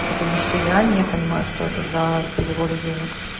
потому что я не понимаю что это за переводы денег